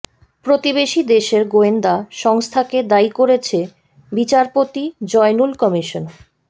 প্রতিবেশী দেশের গোয়েন্দা সংস্থাকে দায়ী করেছে বিচারপতি জয়নুল কমিশন